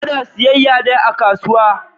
Ana siyayya ne a kasuwa.